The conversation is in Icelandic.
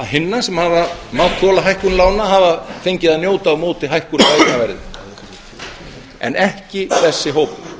hinna sem hafa mátt þola hækkun lána hafa fengið að njóta á móti hækkun á eignaverði en ekki þessi hópur